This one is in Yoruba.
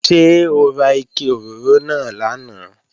Ṣé ó ra ike òróró náà lánàá?